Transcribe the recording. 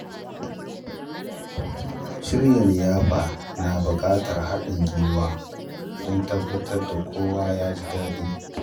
Shirya liyafa na buƙatar haɗin gwiwa don tabbatar da kowa ya ji daɗi.